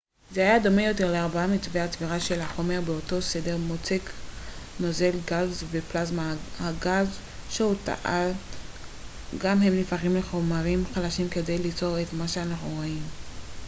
זה היה דומה יותר לארבעת מצבי הצבירה של החומר באותו סדר: מוצק נוזל גז ופלזמה הגם שהוא טען גם שהם נהפכים לחומרים חדשים כדי ליצור את מה שאנו רואים